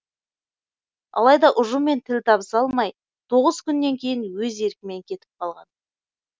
алайда ұжыммен тіл табыса алмай тоғыз күннен кейін өз еркімен кетіп қалған